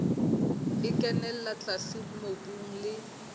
e kenella tlase mobung le